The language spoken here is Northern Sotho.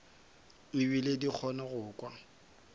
ebile di kgona go kwa